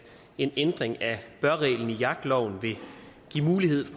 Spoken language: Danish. en ændring af bør reglen i jagtloven vil give mulighed for